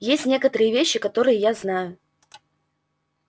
есть некоторые вещи которые я знаю